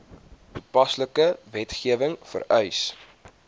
toepaslike wetgewing vereis